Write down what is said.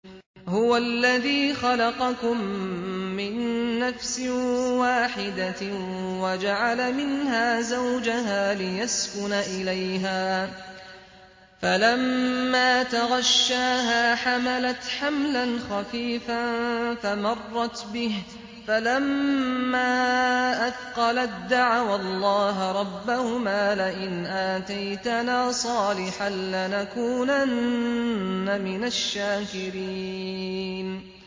۞ هُوَ الَّذِي خَلَقَكُم مِّن نَّفْسٍ وَاحِدَةٍ وَجَعَلَ مِنْهَا زَوْجَهَا لِيَسْكُنَ إِلَيْهَا ۖ فَلَمَّا تَغَشَّاهَا حَمَلَتْ حَمْلًا خَفِيفًا فَمَرَّتْ بِهِ ۖ فَلَمَّا أَثْقَلَت دَّعَوَا اللَّهَ رَبَّهُمَا لَئِنْ آتَيْتَنَا صَالِحًا لَّنَكُونَنَّ مِنَ الشَّاكِرِينَ